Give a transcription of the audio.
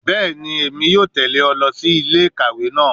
Bẹẹni, Emi yoo tẹle ọ si ile-ikawe naa